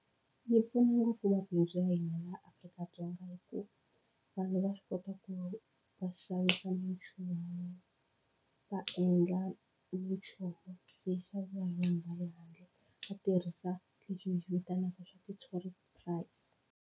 Yi pfuna ngopfu mabindzu ya hina ya Afrika-Dzonga hi ku vanhu va swi kota ku va xavisa minchumu va endla specially vanhu va le handle va tirhisa leswi hi swi vitanaka swa ku i .